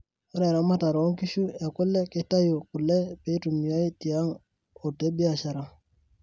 Ore eramatare oo nkishu ekule keitayu kule peitumiai tiang o tebiashara.